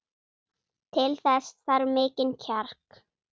Til þess þarf mikinn kjark.